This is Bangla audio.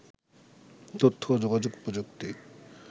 তথ্য ও যোগাযোগ প্রযুক্তি